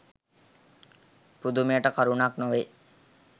පුදුමයට කරුණක් නොවෙයි.